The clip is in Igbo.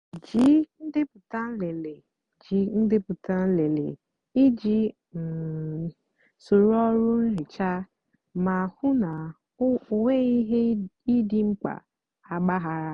jí ndepụta nlele jí ndepụta nlele íjì um sóró ọrụ nhicha mà hú ná ọ nwéeghị íhè dị mkpá àgbághara.